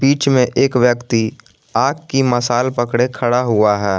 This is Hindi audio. जो एक व्यक्ति आग की मसाला पड़े खड़ा हुआ है।